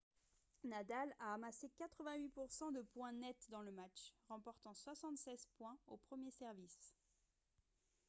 nadal a amassé 88 % de points nets dans le match remportant 76 points au premier service